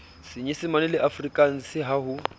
senyesemaneng le afrikanseng ha ho